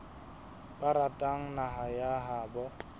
ba ratang naha ya habo